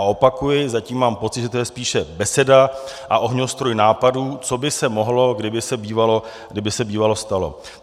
A opakuji, zatím mám pocit, že to je spíše beseda a ohňostroj nápadů, co by se mohlo, kdyby se bývalo stalo.